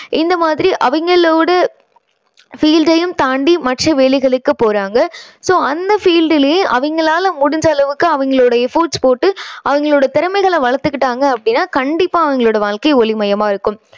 இந்த மாதிரி அவங்களோட field டையும் தாண்டி மற்ற வேலைகளுக்கு போறாங்க. so அந்த field லயே அவங்களால முடிஞ்ச அளவுக்கு அவங்களோட efforts போட்டு அவங்களோட திறமையை வளர்த்துகிக்கிட்டாங்க அப்படின்னா கண்டிப்பா அவங்களோட வாழ்க்கை ஒளிமயமா இருக்கும்